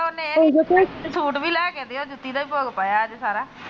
Suit ਵੀ ਲੈਕੇ ਦਿਓ ਜੂਤੀ ਦਾ ਹੀ ਭੋਗ ਪਾਇਆ ਅੱਜ ਸਾਰਾ।